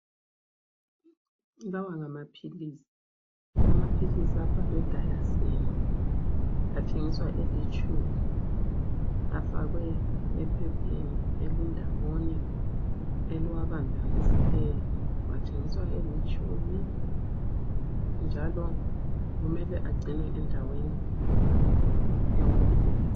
Lawa ngamaphilisi, amaphilisi abhalwe Diasyn. Athengiswa elitshumi, afakwe ephepheni elindawonye eliwabambanisileyo. Athengiswa elitshumi njalo kumele agcinwe endaweni ewomileyo.